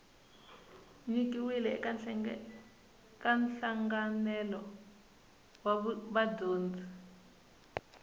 nyikiwile eka nhlanganelo wa vudyondzi